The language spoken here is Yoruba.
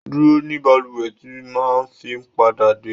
Dúró ní bàlúwè tí màá fi pádà dé.